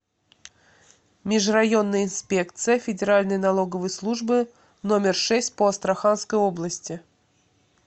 межрайонная инспекция федеральной налоговой службы номер шесть по астраханской области